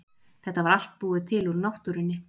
Þetta var allt búið til úr náttúrunni.